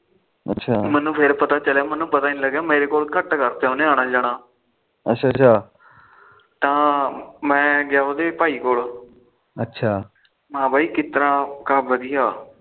ਮੈਨੂੰ ਫਿਰ ਪਤਾ ਚੱਲਿਆ ਮੈਨੂੰ ਪਤਾ ਨੀ ਮੇਰੇ ਕੋਲ ਘੱਟ ਕਰਤਾ ਉਹਨੇ ਆਣਾ ਜਾਣਾ ਅੱਛਾ ਅੱਛਾ ਤਾ ਮੈ ਗਿਆ ਉਹਦੇ ਭਾਈ ਕੋਲ ਮੈ ਕਿਦਾ ਉਹ ਕਹਿੰਦਾ ਵਧੀਆਂ